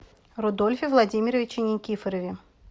рудольфе владимировиче никифорове